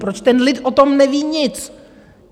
Proč ten lid o tom neví nic?